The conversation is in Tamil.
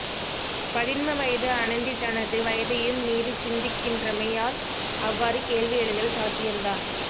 பதின்ம வயது அனந்தி தனது வயதையும் மீறிச்சிந்திக்கின்றமையால் அவ்வாறு கேள்வி எழுதல் சாத்தியம்தான்